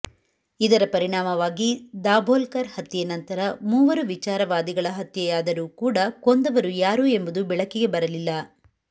ಇದರ ಪರಿಣಾಮವಾಗಿ ದಾಭೋಲ್ಕರ್ ಹತ್ಯೆ ನಂತರ ಮೂವರು ವಿಚಾರವಾದಿಗಳ ಹತ್ಯೆಯಾದರೂ ಕೂಡ ಕೊಂದವರು ಯಾರು ಎಂಬುದು ಬೆಳಕಿಗೆ ಬರಲಿಲ್ಲ